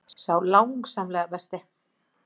Sá langsamlega besti.